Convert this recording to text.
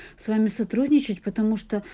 с вами сотрудничать потому что